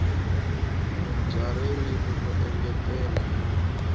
bya ririmi ro engetela na